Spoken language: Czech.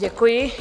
Děkuji.